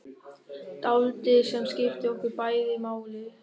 Dáldið sem skiptir okkur bæði máli.